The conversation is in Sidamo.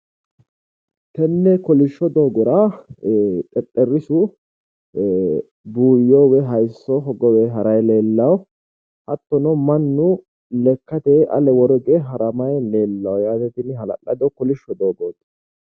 Tenne kolishsho doogora xexxerisu buuyyo woyi hayisso hogowe harayi leellawo. Hattono mannu lekkateyi ale woro hige haramayi leellawo yaate. Tini hala'lado kolishsho doogooti.